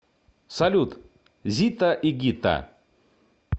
салют зитта и гитта